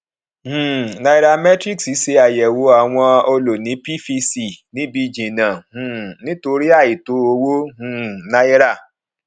um nairametrics ṣe àyẹwò àwọn ọlóńìí pvc níbi jìnnà um nítorí àìtó owó um náírà